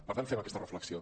per tant fem aquesta reflexió